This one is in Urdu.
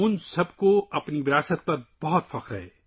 ان سب کو اپنے ورثے پر بہت فخر ہے